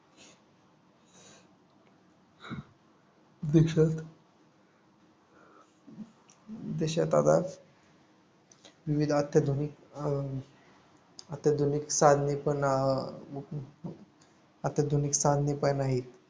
देशात देशात आता विविध अत्याधुनिक अं अत्याधुनिक साधने पण अं अत्याधुनिक साधने पण आहे